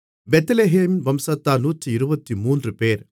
பெத்லெகேமின் வம்சத்தார் 123 பேர்